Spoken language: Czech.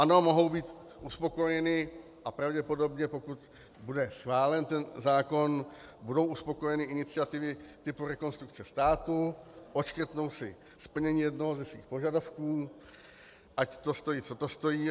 Ano, mohou být uspokojeny, a pravděpodobně, pokud bude schválen ten zákon, budou uspokojeny iniciativy typu Rekonstrukce státu, odškrtnou si splnění jednoho ze svých požadavků, ať to stojí co to stojí.